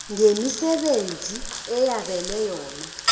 ngemisebenzi eyabelwe yona